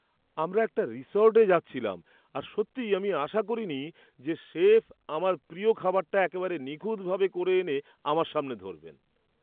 আমরা একটা রিসর্টে যাচ্ছিলাম আর সত্যি আমি আশা করিনি যে শেফ আমার প্রিয় খাবারটা একেবারে নিখুঁতভাবে করে এনে আমার সামনে ধরবেন!